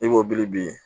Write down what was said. I b'o biri bi